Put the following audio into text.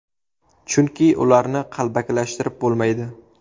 Chunki ularni qalbakilashtirib bo‘lmaydi.